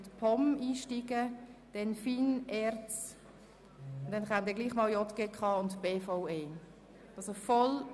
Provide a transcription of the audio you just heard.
Anschliessend folgen die Themen der FIN, der ERZ sowie jene der JGK und der BVE.